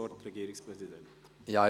– Das ist der Fall.